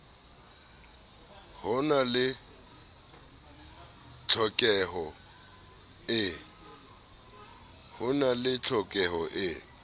ho na le tlhokeho e